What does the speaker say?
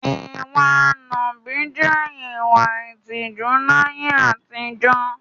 Ìwa nàbì jẹ́ ìwà ìtìjú láyé àtijọ́.